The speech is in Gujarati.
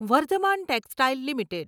Vardhaman textiles limited